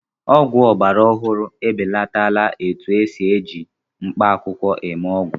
Ọgwụ ọgbara ọhụrụ ebelatala etu esi eji mkpaakwụkwọ eme ọgwụ